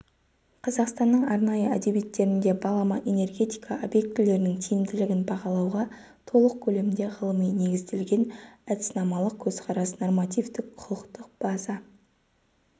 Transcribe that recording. қазақстанның арнайы әдебиеттерінде балама энергетика объектілерінің тиімділігін бағалауға толық көлемде ғылыми негізделген әдіснамалық көзқарас нормативтік-құқықтық база